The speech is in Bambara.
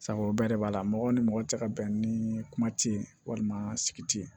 Sabu o bɛɛ de b'a la mɔgɔ ni mɔgɔ tɛ ka bɛn ni kuma ti ye walima sigi tɛ yen